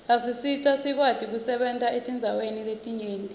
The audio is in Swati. asisita sikwati kusebenta etindzaweni letinyenti